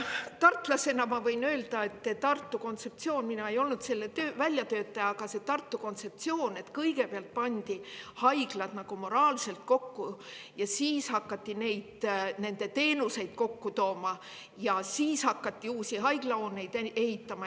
Tartlasena ma võin öelda, et Tartus on selline kontseptsioon – mina ei olnud selle väljatöötaja –, et kõigepealt pandi haiglad nagu moraalselt kokku, siis hakati nende teenuseid kokku tooma ja siis hakati uusi haiglahooneid ehitama.